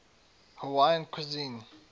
hawaiian cuisine